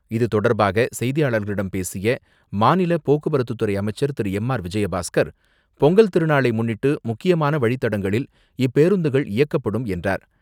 இதுதொடர்பாக செய்தியாளர்களிடம் பேசிய மாநில போக்குவரத்து துறை அமைச்சர் திரு.எம்.ஆர்.விஜயபாஸ்கர், பொங்கல் திருநாளை முன்னிட்டு, முக்கியமான வழித்தடங்களில் இப்பேருந்துகள் இயக்கப்படும் என்றார்.